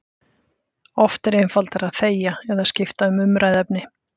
Oft er einfaldara að þegja eða skipta um umræðuefni.